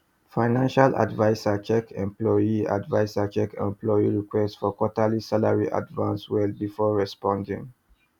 financial adviser check employee adviser check employee request for quarterly salary advance well before responding